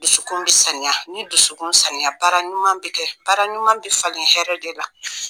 Dusukun bɛ sanuya ni dusukun sanuya, baara ɲuman bɛ kɛ, baara ɲuman bɛ falen hɛrɛ de la.